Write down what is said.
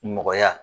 Nɔgɔya